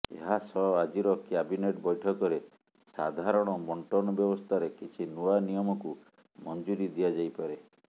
ଏହା ସହ ଆଜିର କ୍ୟାବିନେଟ୍ ବୈଠକରେ ସାଧାରଣ ବଣ୍ଟନ ବ୍ୟବସ୍ଥାରେ କିଛି ନୂଆ ନିୟମକୁ ମଞ୍ଜୁରୀ ଦିଆଯାଇପାରେ